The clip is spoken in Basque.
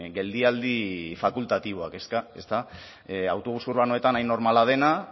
geldialdi fakultatiboak ezta autobus urbanoetan hain normala dena